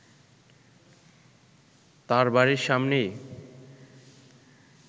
তার বাড়ির সামনেই